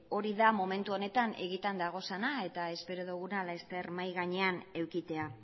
hori da momentu honetan egiatan daudena eta espero duguna laster mahai gainean edukitzea